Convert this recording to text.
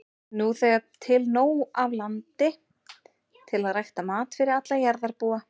Nú þegar er til nóg af landi til að rækta mat fyrir alla jarðarbúa.